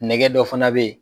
Nɛgɛ dɔ fana be ye